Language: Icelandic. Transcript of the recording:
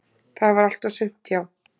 """Það var allt og sumt, já."""